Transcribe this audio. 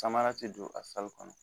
Samara tɛ don a kɔnɔ